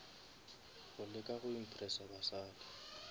go leka go impressa basadi